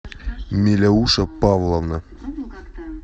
миляуша павловна